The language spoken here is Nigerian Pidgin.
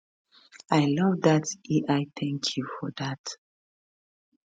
i love dat ai thank you for dat